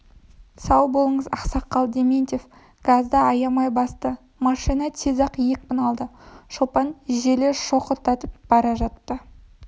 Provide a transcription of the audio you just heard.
сау болыңыз ақсақал дементьев газды аямай басты машина тез-ақ екпін алды шопан желе шоқырақтатып бара жатты